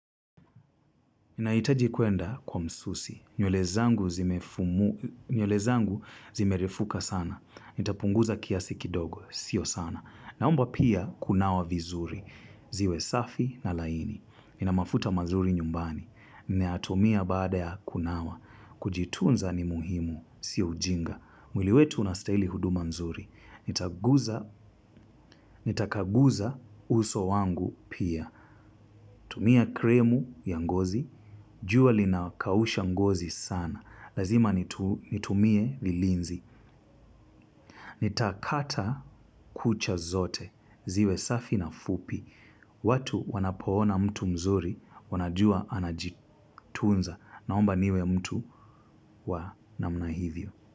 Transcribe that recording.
Naitaji kuenda kwa msusi nywele zangu zimefu. Nywele zangu zimerefuka sana. Nitapunguza kiasi kidogo. Sio sana. Naomba pia kunawa vizuri. Ziwe safi na laini. Nina mafuta mazuri nyumbani. Nayatumia baada ya kunawa. Kujitunza ni muhimu. Si ujinga. Mwili wetu unastahili huduma mzuri nitaguza. Nitakaguza uso wangu pia. Tumia krimu ya ngozi, jua linakausha ngozi sana. Lazima nitu nitumie vilinzi. Nitakata kucha zote, ziwe safi na fupi. Watu wanapoona mtu mzuri, wanajua anajitunza. Naomba niwe mtu wa namna hivyo.